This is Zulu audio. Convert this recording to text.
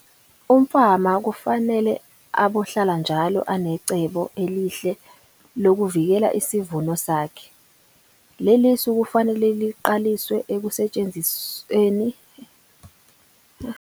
Umfama kufanele abohlala njalo anecebo elihle lokuvikela isivuno sakhe. Lelisu kufanele liqaliswe ukusetshenziswa kusukela kutshalwa futhi kuqhutshekwe nalo esigabeni sonke sokukhula kwesitshalo sommbila.